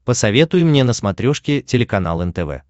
посоветуй мне на смотрешке телеканал нтв